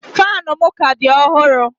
Fanu m ka di ọhụrụ